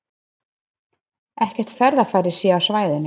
Ekkert ferðafæri sé á svæðinu